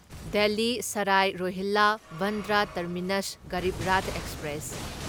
Delhi Sarai Rohilla Bandra Terminus Garib Rath express